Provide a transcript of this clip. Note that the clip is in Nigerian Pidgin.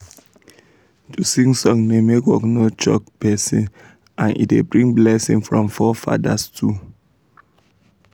to sing song da make work no choke person and e da bring blessing from fore fadas too